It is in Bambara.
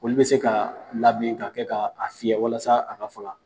Olu be se ka labilen ka kɛ ka fiyɛ walasa a ka fɔ